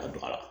Ka don a la